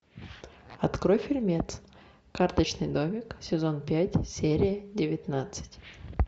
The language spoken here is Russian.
открой фильмец карточный домик сезон пять серия девятнадцать